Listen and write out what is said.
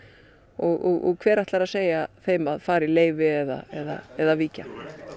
og hver ætlar að segja þeim að fara í leyfi eða eða víkja